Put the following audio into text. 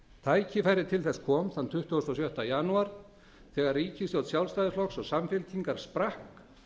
tækifærið til þess kom þann tuttugasta og sjötta janúar þegar ríkisstjórn sjálfstæðisflokks og samfylkingar sprakk